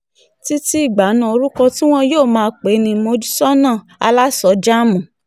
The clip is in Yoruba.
títí ìgbà náà orúkọ tí wọn yóò máa pè é ní mojsóná aláṣọjáàmù